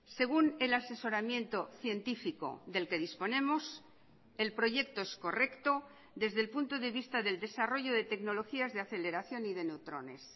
según el asesoramiento científico del que disponemos el proyecto es correcto desde el punto de vista del desarrollo de tecnologías de aceleración y de neutrones